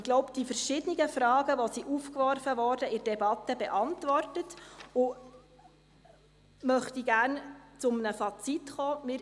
Jetzt habe ich wohl die verschiedenen, in der Debatte aufgeworfenen Fragen beantwortet, und ich möchte gerne zu einem Fazit kommen.